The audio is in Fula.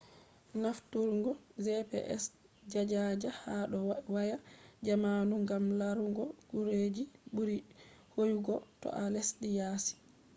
nafturgo manhaja gps ha dou waya jamanu gam laarugo gureji burii hoyugo to a lesdi yaasi